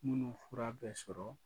Minnu fura bɛɛ sɔrɔ